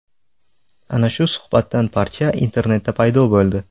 Ana shu suhbatdan parcha internetda paydo bo‘ldi .